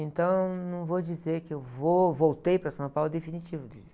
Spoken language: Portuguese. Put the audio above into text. Então, não vou dizer que eu vou, voltei para São Paulo em definitivo.